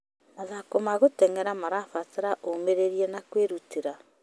Mathako ma gũtenyera marabatara ũmĩrĩria na kwĩruta.